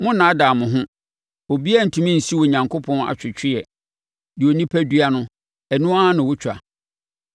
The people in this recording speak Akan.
Monnnaadaa mo ho; obiara rentumi nsi Onyankopɔn atwetweɛ. Deɛ onipa dua no, ɛno ara na ɔtwa.